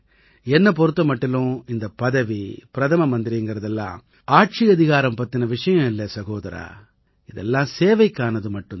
என்னைப் பொறுத்த மட்டிலும் இந்தப் பதவி பிரதம மந்திரிங்கறது எல்லாம் ஆட்சியதிகாரம் பத்தின விஷயம் இல்லை சகோதரா இதெல்லாம் சேவைக்கானது மட்டும் தான்